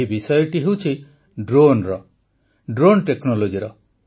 ଏହି ବିଷୟଟି ହେଉଛି ଡ୍ରୋନର ଡ୍ରୋନ୍ ଟେକ୍ନୋଲୋଜିର